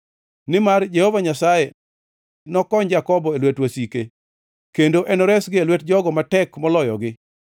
Nimar Jehova Nyasaye nokony Jakobo e lwet wasike, kendo enoresgi e lwet jogo matek moloyogi.